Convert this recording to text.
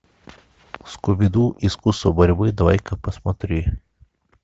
скуби ду искусство борьбы давай ка посмотри